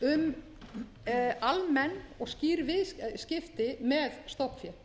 um almenn og skýr viðskipti með stofnfé